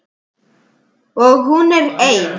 Og hún er ein.